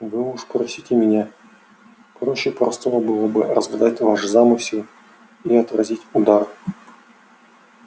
вы уж просите меня проще простого было бы разгадать ваш замысел и отразить удар